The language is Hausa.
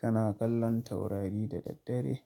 Kana kallon taurari da daddare?